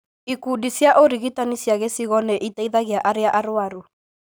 Ikundi cia ũrigitani cia gĩcigo nĩ iteithagia arĩa arũaru